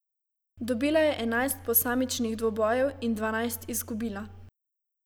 Dobila je enajst posamičnih dvobojev in dvanajst izgubila.